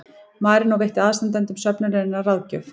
Marínó veitti aðstandendum söfnunarinnar ráðgjöf